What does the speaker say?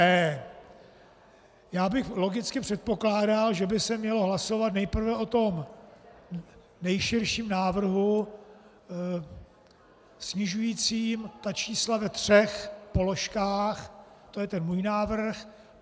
E. Já bych logicky předpokládal, že by se mělo hlasovat nejprve o tom nejširším návrhu snižujícím ta čísla ve třech položkách, to je ten můj návrh.